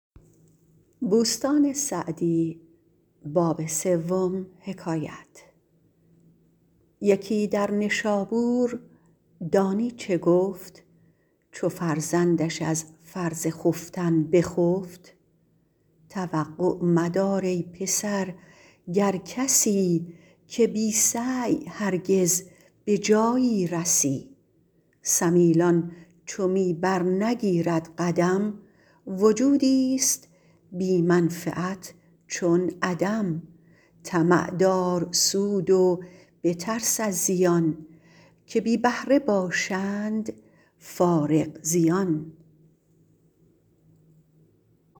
یکی در نشابور دانی چه گفت چو فرزندش از فرض خفتن بخفت توقع مدار ای پسر گر کسی که بی سعی هرگز به جایی رسی سمیلان چو می بر نگیرد قدم وجودی است بی منفعت چون عدم طمع دار سود و بترس از زیان که بی بهره باشند فارغ زیان